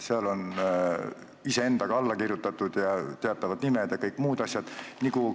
Seal on iseendaga alla kirjutatud ja teatavad nimed ja kõik muud asjad.